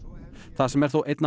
það sem er þó einna